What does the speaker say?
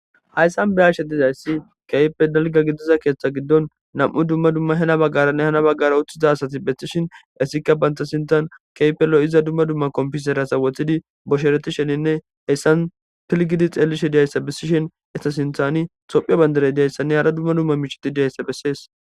Hayssan birashe dizayssi keype dalga gidiza keeththa giddon nam'u dumma dumma hena baggaranne hana baggara uththiza asati bethtishin essikka bantasintan keypello iza dumma dumma komfisera sawothidi boshereti sheninne heyssan pilgidi xeelishe diyayssa bessishen etasinthani sophea bandarey diyayssanne hara dumma dumma miicheti diyayssa bessees.